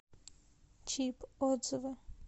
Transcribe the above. чип отзывы